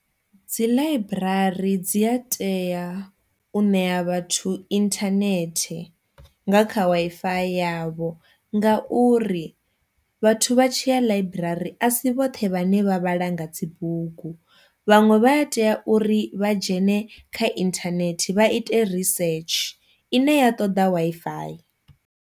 Dziḽaiburari dzi a tea u ṋea vhathu internet nga kha Wi-Fi yavho nga uri vhathu vha tshi ya ḽaiburari asi vhoṱhe vhane vha vhala nga dzibugu, vhaṅwe vha a tea uri vha dzhene kha inthanethe vha ite risetshe ine ya ṱoḓa Wi-Fi.